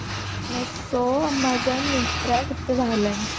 meesho amazon myntra କେତେ ବାହାରିଲାଣି